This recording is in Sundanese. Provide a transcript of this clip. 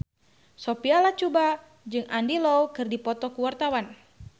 Sophia Latjuba jeung Andy Lau keur dipoto ku wartawan